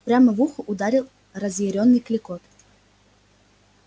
прямо в ухо ударил разъярённый клёкот